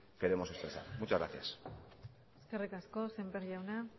queremos expresar muchas gracias eskerrik asko sémper jauna